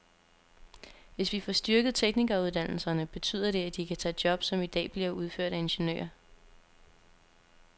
Hvis vi får styrket teknikeruddannelserne, betyder det, at de kan tage job, som i dag bliver udført af ingeniører.